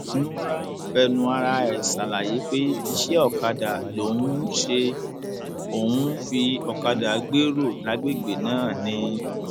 a ò um gbowó kankan lọwọ olóṣèlú kankan a um ò sì retí owó kankan lọwọ wọn